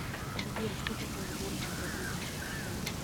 сбер что такое сборная боливии по футболу